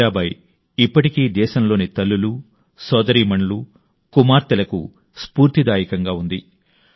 మీరాబాయి ఇప్పటికీ దేశంలోని తల్లులు సోదరీమణులు కుమార్తెలకు స్ఫూర్తిదాయకంగా ఉంది